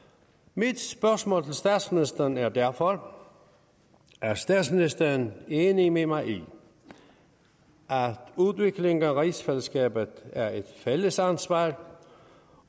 mit spørgsmål til statsministeren er derfor er statsministeren enig med mig i at udviklingen af rigsfællesskabet er et fælles ansvar